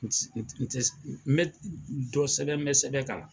N bɛ dɔ sɛbɛn n bɛ sɛbɛn kalan